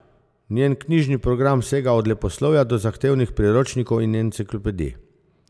Njen knjižni program sega od leposlovja do zahtevnih priročnikov in enciklopedij.